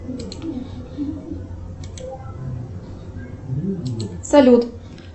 салют